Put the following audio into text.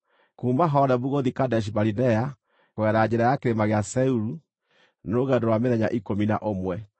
(Kuuma Horebu gũthiĩ Kadeshi-Barinea, kugerera njĩra ya kĩrĩma gĩa Seiru, nĩ rũgendo rwa mĩthenya ikũmi na ũmwe.)